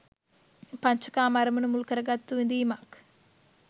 පංච කාම අරමුණු මුල් කරගත්තු විඳීමක්